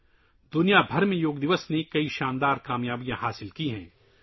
yoga day نے دنیا بھر میں بہت سی شاندار کامیابیاں حاصل کی ہیں